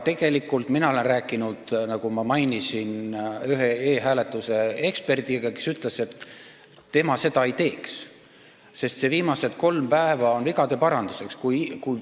Aga mina olen rääkinud, nagu ma mainisin, ühe e-hääletuse eksperdiga, kes ütles, et tema seda ei teeks, sest need viimased kolm päeva on vajalikud vigade paranduseks.